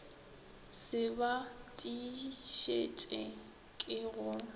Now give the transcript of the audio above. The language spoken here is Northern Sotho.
se ba tiišetše ke go